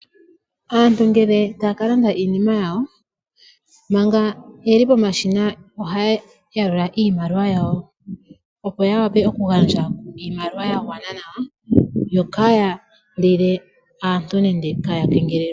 Aantu ngele taya ka landa iinima yawo , manga yeli pomashina, ohaya yalula iimaliwa yawo opo ya wape oku gandja iimaliwa ya gwana nawa, yo kaaya kengelele aantu.